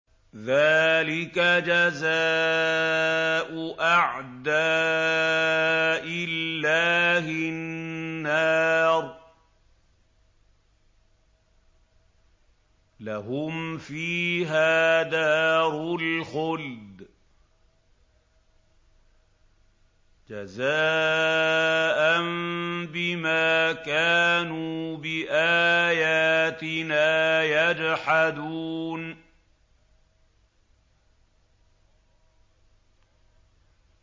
ذَٰلِكَ جَزَاءُ أَعْدَاءِ اللَّهِ النَّارُ ۖ لَهُمْ فِيهَا دَارُ الْخُلْدِ ۖ جَزَاءً بِمَا كَانُوا بِآيَاتِنَا يَجْحَدُونَ